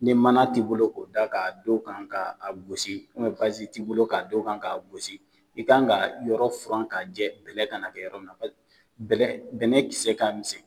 Ni mana t'i bolo ko da k' don kan k'a gosi basiz t'i bolo k'a don kan k'a gosi i ka kan ka yɔrɔ furan ka jɛ bɛlɛ ka na kɛ yɔrɔ na bɛnɛ kisɛe k'a minsɛnn.